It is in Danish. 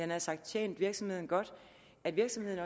nær sagt tjent virksomheden godt at virksomheden